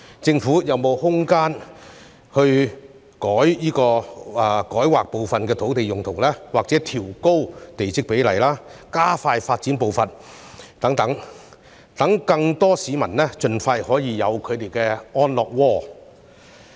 政府有沒有空間透過改劃部分土地用途、調高地積比率或加快發展步伐等，讓更多市民盡快擁有他們的安樂窩呢？